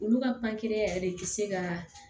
Olu ka yɛrɛ de bi se ka